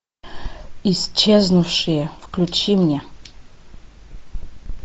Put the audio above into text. исчезнувшие включи мне